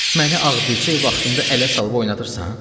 Məni ağ bircə vaxtımda ələ salıb oynadırsan?